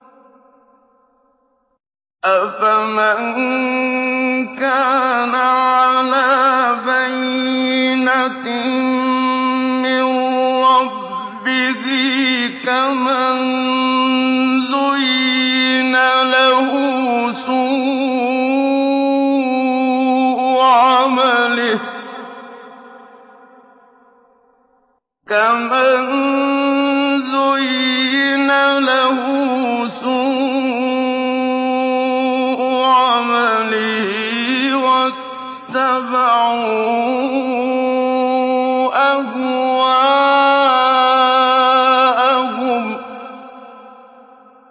أَفَمَن كَانَ عَلَىٰ بَيِّنَةٍ مِّن رَّبِّهِ كَمَن زُيِّنَ لَهُ سُوءُ عَمَلِهِ وَاتَّبَعُوا أَهْوَاءَهُم